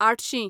आठशीं